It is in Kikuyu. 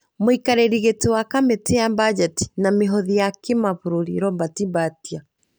Mũikarĩri gĩtĩ wa kamĩtĩ ya bajeti na mĩhothi ya kĩbũrũri Robert Mbatia,